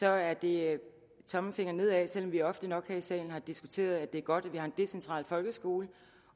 er det tommelfingeren nedad selv om vi ofte nok her i salen har diskuteret at det er godt at vi har en decentral folkeskole